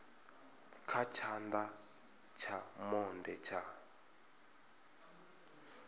kha tshana tsha monde tsha